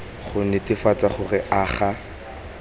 go netefatsa gore a ga